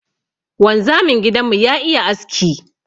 Wanzamin gidan mu ya iya aski.